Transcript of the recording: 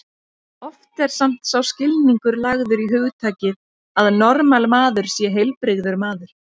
Oft er samt sá skilningur lagður í hugtakið að normal maður sé heilbrigður maður.